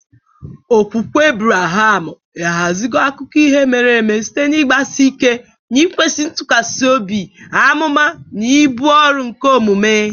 Okwukwe Ebreham ahaziwo akụkọ ihe mere eme site n'ịgbasi ike n'ịkwesị ntụkwasị obi, amụma, na ibu ọrụ nke omume.